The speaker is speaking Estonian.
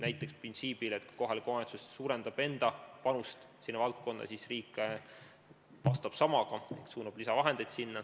Näiteks printsiibil, et kui kohalik omavalitsus suurendab enda panust sinna valdkonda, siis riik vastab samaga, suunab sinna lisavahendeid.